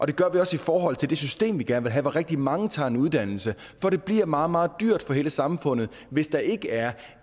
det gør vi også i forhold til det system vi gerne vil have hvor rigtig mange tager en uddannelse for det bliver meget meget dyrt for hele samfundet hvis der ikke er